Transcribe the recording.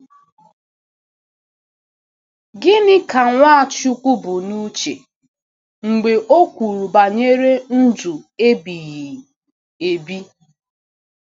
Gịnị ka Nwachukwu bu n’uche mgbe o kwuru banyere ndụ ebighị ebi?